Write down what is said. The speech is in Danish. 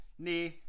Næh